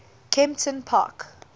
kemptonpark